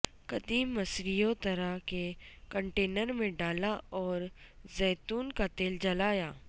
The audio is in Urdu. قدیم مصریوں طرح کے کنٹینر میں ڈالا اور زیتون کا تیل جلایا